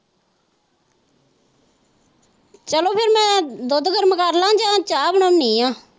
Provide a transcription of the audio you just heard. ਮੈਂ ਦੁੱਧ ਗਰਮ ਕਰ ਲਾ ਯਾ ਚਾਹ ਬਣਾਂਉਦੀ ਹਾਂ।